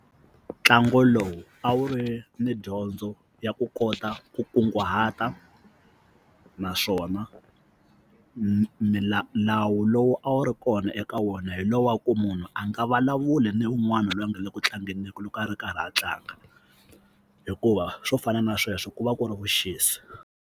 Ntlangu lowu a wu ri ni dyondzo ya ku kota ku kunguhata naswona milawu lowu a wu ri kona eka wona hi lowu wa ku munhu a nga vulavuli ni un'wana loyi a nga le ku tlangeni ka loko a ri karhi a tlanga hikuva swo fana na sweswo ku va ku ri vuxisi.